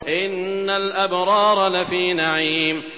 إِنَّ الْأَبْرَارَ لَفِي نَعِيمٍ